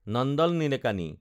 Nandan Nilekani